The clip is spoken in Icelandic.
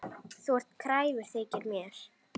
Þú ert kræfur, þykir mér.